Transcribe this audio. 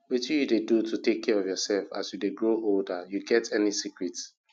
wetin you dey do to take care of yourself as you grow older you get any secrets